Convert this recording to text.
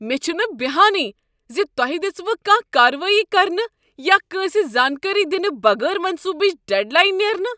مےٚ چھہٕ بہانٕے ز تۄہہ دژوٕ کانٛہہ کاروٲیی کرنہٕ یا کٲنٛسہ زانٛکٲری دنہٕ بغٲر منصوٗبٕچ ڈیڈ لاین نیرنہٕ۔